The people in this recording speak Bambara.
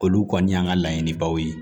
Olu kɔni y'an ka laɲinibaw ye